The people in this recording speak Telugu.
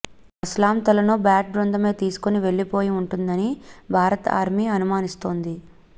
అస్లాం తలను బ్యాట్ బృందమే తీసుకొని వెళ్లిపోయి ఉంటుందని భారత్ ఆర్మీ అనుమానిస్తోంది